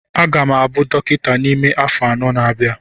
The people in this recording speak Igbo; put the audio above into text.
M ga-abụ dọkịta n'ime afọ anọ na-abịa